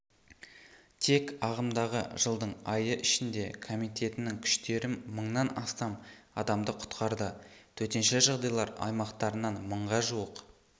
тек ағымдағы жылдың айы ішінде комитетінің күштері мыңнан астам адамды құтқарды төтенше жағдайлар аймақтарынан мыңға жуық